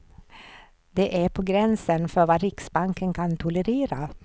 Det är på gränsen för vad riksbanken kan tolerera.